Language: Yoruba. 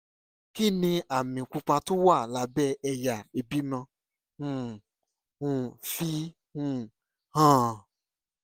kí ni àmì pupa tó wà lábẹ́ ẹ̀yà ìbímọ ń um fi um hàn?